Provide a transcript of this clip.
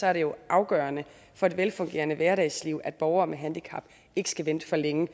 er det jo afgørende for et velfungerende hverdagsliv at borgere med handicap ikke skal vente for længe